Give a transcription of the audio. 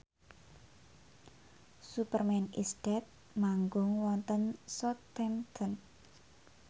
Superman is Dead manggung wonten Southampton